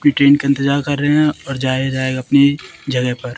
पीटेंट का इंतजार कर रहे हैं और जाया जाएगा अपनी जगह पर--